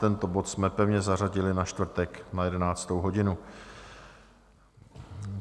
Tento bod jsme pevně zařadili na čtvrtek na 11. hodinu.